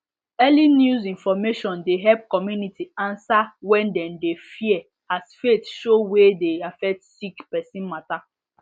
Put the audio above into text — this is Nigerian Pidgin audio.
early news information de help community answer when dem de fear as faith show wey de affect sick person matter